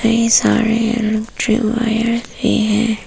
इतने सारे hair dryer भी हैं।